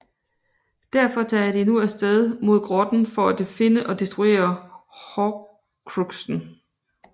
Derfor tager de nu af sted mod grotten for at finde og destruere Horcruxen